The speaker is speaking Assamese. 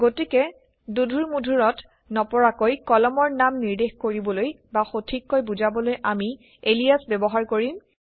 গতিকে দোধোৰমোধোৰত নপৰাকৈ কলমৰ নাম নিৰ্দেশ কৰিবলৈ বা সঠিককৈ বুজাবলৈ আমি এলিয়াচ ব্যৱহাৰ কৰিম